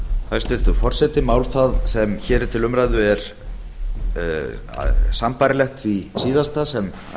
hæstvirtur forseti mál það sem hér er til umræðu er sambærilegt því síðasta sem